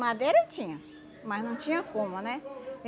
Madeira tinha, mas não tinha como, né?